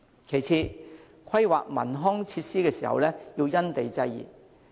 其次，規劃文康設施時亦要因地制宜。